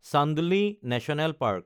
Chandoli national park